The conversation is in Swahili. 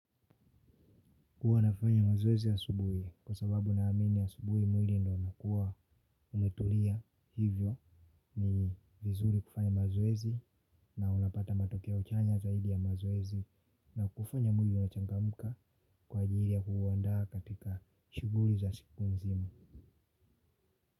Huwa nafanya mazoezi asubuhi kwa sababu ninaamini asubuhi mwili ndio unakuwa umetulia hivyo ni vizuri kufanya mazoezi na unapata matokeo chanya zaidi ya mazoezi na kufanya mwili unachangamka kwa ajili ya kuuandaa katika shuguli za siku nzima.